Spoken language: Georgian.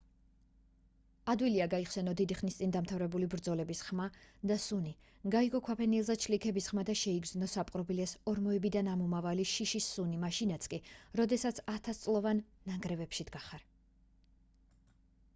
ადვილია გაიხსენო დიდი ხნის წინ დამთავრებული ბრძოლების ხმა და სუნი გაიგო ქვაფენილზე ჩლიქების ხმა და შეიგრძნო საპყრობილეს ორმოებიდან ამომავალი შიშის სუნი მაშინაც კი როდესაც ათასწლოვან ნანგრევებში დგახარ